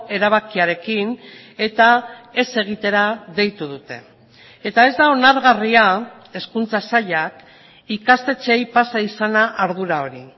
erabakiarekin eta ez egitera deitu dute eta ez da onargarria hezkuntza sailak ikastetxeei pasa izana ardura hori